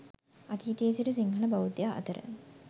අතීතයේ සිට සිංහල බෞද්ධයා අතර